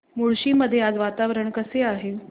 मुळशी मध्ये आज वातावरण कसे आहे